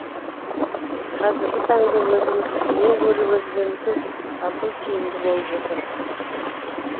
қазіргі таңда өзіміздікінен гөрі өзгенікін сату тиімді болып отыр